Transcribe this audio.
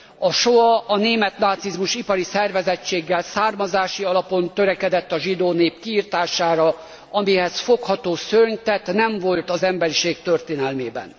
A Soá, a német nácizmus ipari szervezettséggel, származási alapon törekedett a zsidó nép kiirtására, amihez fogható szörnytett nem volt az emberiség történelmében.